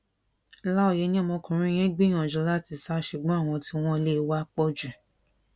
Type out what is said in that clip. láòyé ni ọmọkùnrin yẹn gbìyànjú láti sá ṣùgbọn àwọn tí wọn lé e wá pọ jù